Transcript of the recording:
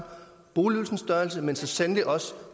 boligydelsens størrelse men så sandelig også